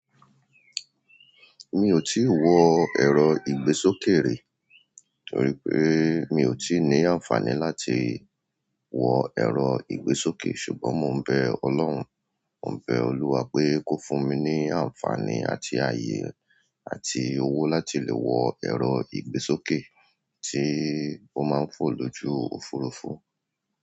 Mi ò tíì wọ èrò ìgbésókè rí, torí pé mi ò tíì ní àǹfààní láti wọ èrò ìgbésókè, ṣùgbọ́n mo ń bẹ Ọlọ́run, mo ń bẹ Olúwa pé kó fún mi ní àǹfààní àti ayé àti owó láti lè wọ èrò ìgbésókè tí ó máa ń fò lójú òfurufú.